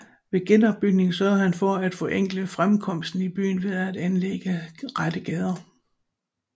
Ved genopbygningen sørgede han for at forenkle fremkomsten i byen ved at anlægge rette gader